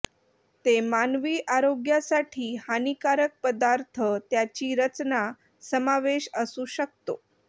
ते मानवी आरोग्यासाठी हानीकारक पदार्थ त्याची रचना समावेश असू शकतो